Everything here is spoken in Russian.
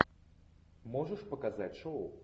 можешь показать шоу